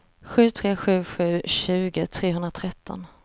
sju tre sju sju tjugo trehundratretton